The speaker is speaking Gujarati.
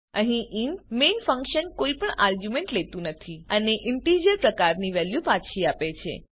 અહીં ઇન્ટ મેઇન ફંક્શન કોઈપણ આર્ગ્યુંમેંટ લેતું નથી અને ઇન્ટીજર પ્રકારની વેલ્યુ પાછી આપે છે